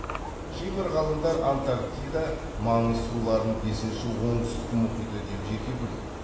кейбір ғалымдар антарктида маңы суларын бесінші оңтүстік мұхиты деп жеке бөледі